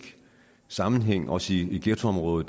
sammenhæng også i ghettoområder